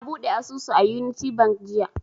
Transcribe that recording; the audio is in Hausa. Na buɗe asusu a unity bank jiya